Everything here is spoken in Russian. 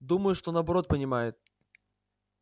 думаю что наоборот понимает